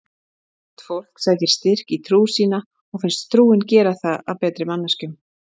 Sumt fólk sækir styrk í trú sína og finnst trúin gera það að betri manneskjum.